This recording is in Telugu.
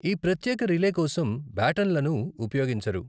ఈ ప్రత్యేక రిలే కోసం బ్యాటన్లను ఉపయోగించరు.